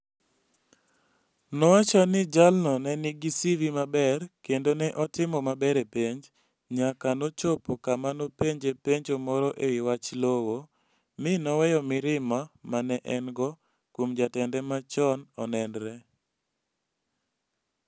Nowacho ni jalno ne nigi CV maber kendo ne otimo maber e penj, nyaka nochopo kama nopenje penjo moro e wi wach lowo, mi noweyo mirima ma ne en - go kuom jatende machon onenre.